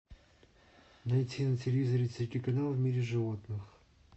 найти на телевизоре телеканал в мире животных